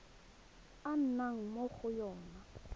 a nnang mo go yona